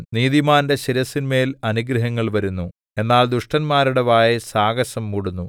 നീതിമാന്റെ ശിരസ്സിന്മേൽ അനുഗ്രഹങ്ങൾ വരുന്നു എന്നാൽ ദുഷ്ടന്മാരുടെ വായെ സാഹസം മൂടുന്നു